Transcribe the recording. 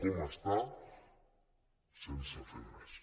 com està sense fer res